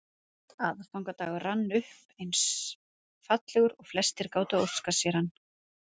Aðfangadagur rann upp eins fallegur og flestir gátu óskað sér hann.